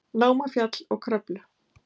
Námafjall og Kröflu.